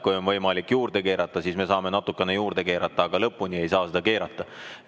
Kui on võimalik juurde keerata, siis me saame natukene juurde keerata, aga lõpmatuseni ei saa keerata.